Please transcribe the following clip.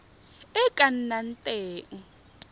e e ka nnang teng